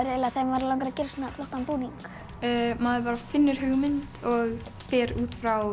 þegar mann langar að gera svona flottan búning maður finnur hugmynd og fer út frá